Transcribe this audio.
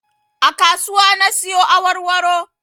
A kasuwa na siyo awarwaro